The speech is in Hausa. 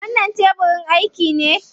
Wannan tebirin aiki ne?